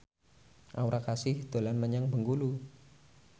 Aura Kasih dolan menyang Bengkulu